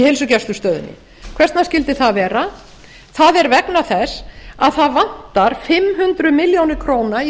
heilsugæslustöðinni hvers vegna skyldi það vera það er vegna þess að það vantar fimm hundruð milljóna króna í